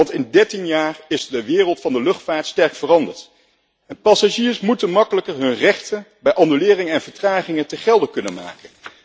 Want in 13 jaar is de wereld van de luchtvaart sterk veranderd en passagiers moeten makkelijker hun rechten bij annuleringen en vertragingen te gelde kunnen maken.